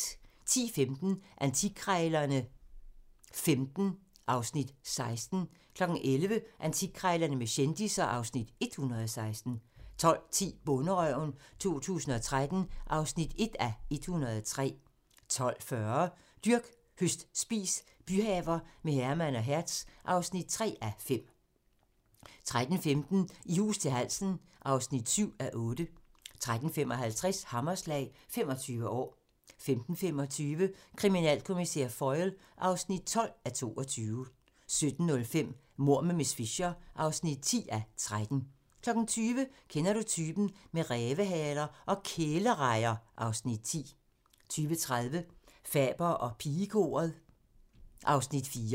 10:15: Antikkrejlerne XV (Afs. 16) 11:00: Antikkrejlerne med kendisser (Afs. 116) 12:10: Bonderøven 2013 (1:103) 12:40: Dyrk, høst, spis - byhaver med Herman og Hertz (3:5) 13:15: I hus til halsen (7:8) 13:55: Hammerslag - 25 år 15:25: Kriminalkommissær Foyle (12:22) 17:05: Mord med miss Fisher (10:13) 20:00: Kender du typen? - med rævehaler og kælerejer (Afs. 10) 20:30: Faber og pigekoret (Afs. 4)